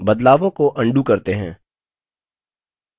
बदलावों को अन्डू करते हैं